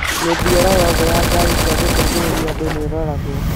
Mĩthiĩre yothe ya ngaari cia gũteithĩrĩria andũ nĩ ĩroragwo